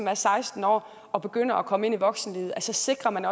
er seksten år og begynder at komme ind i voksenlivet så sikrer man